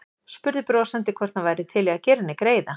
Spurði brosandi hvort hann væri til í að gera henni greiða.